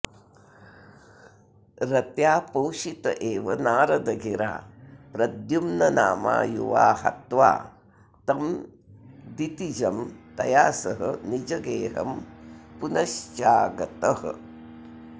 रत्या पोषित एव नारदगिरा प्रद्युम्ननामा युवा हत्वा तं दितिजं तया सह निजं गेहं पुनश्चागतः